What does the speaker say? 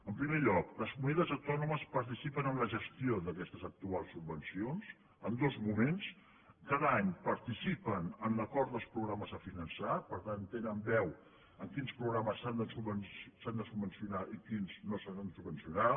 en primer lloc les comunitats autònomes participen en la gestió d’aquestes actuals subvencions en dos mo·ments cada any participen en l’acord dels programes a finançar per tant tenen veu en quins programes s’han de subvencionar i quins no s’han de subvencionar